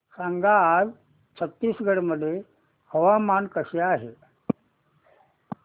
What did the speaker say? सांगा आज छत्तीसगड मध्ये हवामान कसे आहे